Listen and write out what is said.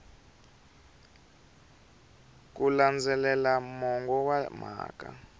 ku landzelela mongo wa mhaka